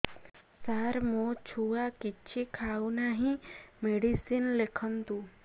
ସାର ମୋ ଛୁଆ କିଛି ଖାଉ ନାହିଁ ମେଡିସିନ ଲେଖନ୍ତୁ